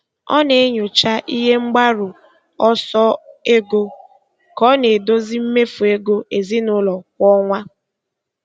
Ọ na-enyocha ihe mgbaru ọsọ ego ka ọ na-edozi mmefu ego ezinụlọ kwa ọnwa.